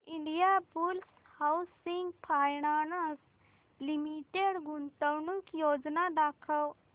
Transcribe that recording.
Indiabulls housing finance limited गुंतवणूक योजना दाखव